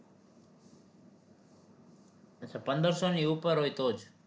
અચ્છા પંદરસો ની ઉપર હોય તો જ